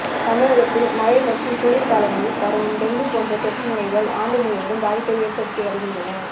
தமிழகத்தில் மழை மற்றும் குளிர் காலங்களில் பரவும் டெங்கு போன்ற தொற்று நோய்கள் ஆண்டு முழுவதும் பாதிப்பை ஏற்படுத்தி வருகின்றன